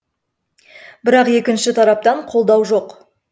бірақ екінші тараптан қолдау жоқ